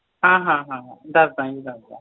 ਹਾਂ ਹਾਂ ਹਾਂ ਦਸਦਾ ਜੀ ਦਸਦਾ